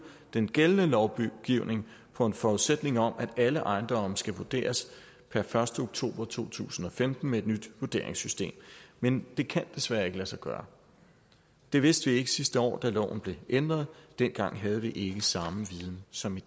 den gældende lovgivning på en forudsætning om at alle ejendomme skal vurderes per første oktober to tusind og femten med et nyt vurderingssystem men det kan desværre ikke lade sig gøre det vidste vi ikke sidste år da loven blev ændret dengang havde vi ikke samme viden som vi